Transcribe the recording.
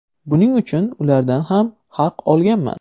Buning uchun ulardan ham haq olganman.